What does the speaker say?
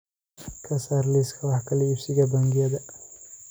ka saar liiska wax kala iibsiga bangiyada